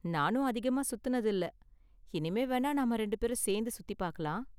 நானும் அதிகமா சுத்துனது இல்ல, இனிமே வேணா நாம ரெண்டும் பேரும் சேர்ந்து சுத்தி பார்க்கலாம்.